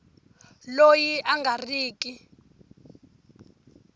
loyi a nga ri ki